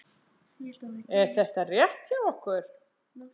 Er þetta rétt hjá okkur?